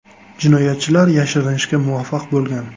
Jinoyatchilar yashirinishga muvaffaq bo‘lgan.